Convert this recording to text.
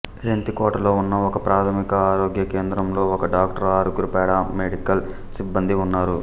రెంతికోటలో ఉన్న ఒకప్రాథమిక ఆరోగ్య కేంద్రంలో ఒక డాక్టరు ఆరుగురు పారామెడికల్ సిబ్బందీ ఉన్నారు